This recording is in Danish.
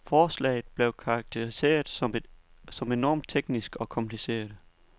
Forslaget blev karakteriseret som enormt teknisk og kompliceret.